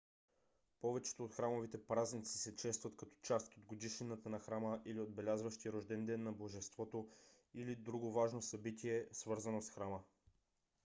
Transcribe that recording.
повечето от храмовите празници се честват като част от годишнината на храма или отбелязващи рожден ден на божеството или друго важно събитие свързано с храма